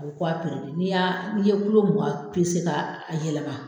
A bɛ ko a ni y'a n'i ye mugan ka a yɛlɛma.